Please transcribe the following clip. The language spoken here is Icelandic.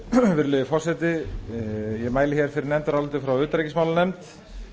virðulegi forseti ég mæli fyrir nefndaráliti frá utanríkismálanefnd